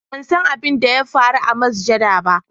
ban san abin da ya faru a masajjada